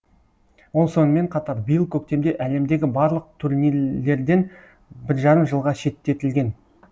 ол сонымен қатар биыл көктемде әлемдегі барлық турнирлерден бір жарым жылға шеттетілген